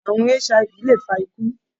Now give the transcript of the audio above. À̀rùn HIV lè fa ikú.